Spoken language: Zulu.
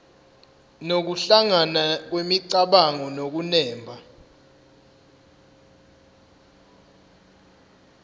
nokuhlangana kwemicabango nokunemba